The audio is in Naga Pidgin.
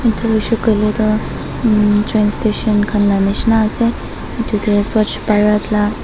etu mishi koi le to um train station khan nishna ase etu ke swachh bharat la.